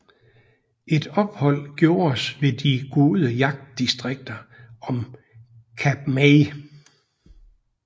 Et ophold gjordes ved de gode jagtdistrikter om Kap May